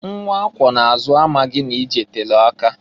Nwa akwọ na-azụ amaghị na ije telu aka.